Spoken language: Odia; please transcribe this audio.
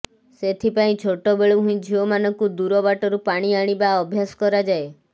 ସେଥିପାଇଁ ଛୋଟ ବେଳୁ ହିଁ ଝିଅମାନଙ୍କୁ ଦୂର ବାଟରୁ ପାଣି ଆଣିବା ଅଭ୍ୟାସ କରାଯାଏ